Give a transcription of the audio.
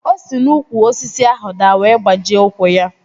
O si n'úkwù osisi ahụ daa wee gbajie ụkwụ ya